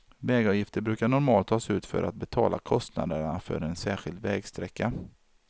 Vägavgifter brukar normalt tas ut för att betala kostnaderna för en särskild vägsträcka.